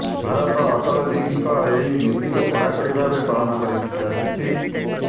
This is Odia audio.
ଭାରତ ଅଟଳଜୀଙ୍କ ଏହି ନୀତିକୁ କଡାକଡ଼ି ଭାବେ ପାଳନ କରି ଆସିଛି